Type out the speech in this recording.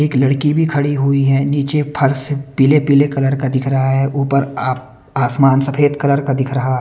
एक लड़की भी खड़ी हुई है नीचे फर्श पीले पीले कलर का दिख रहा है ऊपर आ आसमान सफेद कलर का दिख रहा--